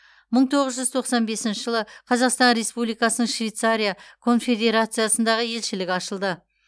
мың тоғыз жүз тоқсан бесінші жылы қазақстан республикасының швейцария конфедерациясындағы елшілігі ашылды